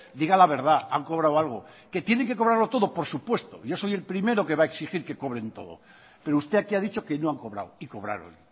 diga la verdad han cobrado algo que tiene que cobrarlo todo por supuesto yo soy el primero que va a exigir que cobren todo pero usted aquí ha dicho que no han cobrado y cobraron